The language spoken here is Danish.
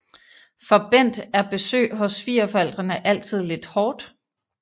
For Bent er besøg hos svigerforældrene altid lidt hårdt